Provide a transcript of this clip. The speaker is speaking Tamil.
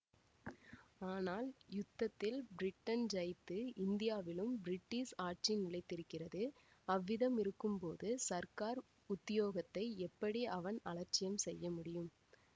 ஆனால் யுத்தத்தில் பிரிட்டன் ஜயித்து இந்தியாவிலும் பிரிட்டிஷ் ஆட்சி நிலைத்திருக்கிறது அவ்விதமிருக்கும்போது சர்க்கார் உத்தியோகத்தை எப்படி அவன் அலட்சியம் செய்ய முடியும்